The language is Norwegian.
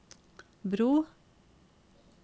bro